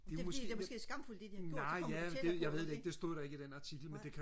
det er fordi det er måske skamfuldt det de har gjort så kommer de tættere på ikke nej